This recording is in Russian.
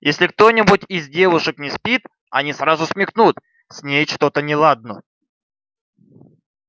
если кто-нибудь из девушек не спит они сразу смекнут с ней что-то неладно